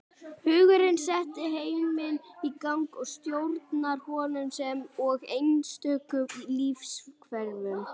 Hugurinn setti heiminn í gang og stjórnar honum sem og einstökum lífverum.